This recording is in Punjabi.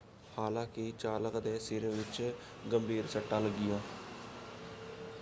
ਹਾਲਾਂਕਿ ਚਾਲਕ ਦੇ ਸਿਰ ਵਿੱਚ ਗੰਭੀਰ ਸੱਟਾਂ ਲੱਗੀਆਂ।